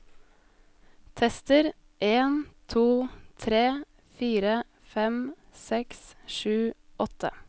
Tester en to tre fire fem seks sju åtte